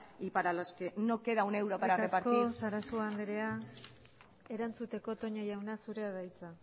y para los que no queda un euro para repartir eskerrik asko sarasua anderea erantzuteko toña jauna zurea da hitza